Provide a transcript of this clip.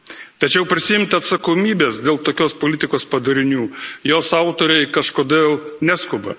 Tačiau prisiimti atsakomybės dėl tokios politikos padarinių jos autoriai kažkodėl neskuba.